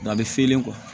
Nka a bɛ fiyɛlen